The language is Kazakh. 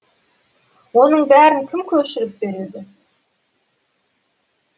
оның бәрін кім көшіріп береді